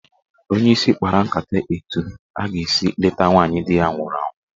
Onyeisi kpara nkata etu a ga-esi leta nwaanyị di ya nwụrụ anwụ.